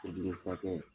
O jeli furakɛ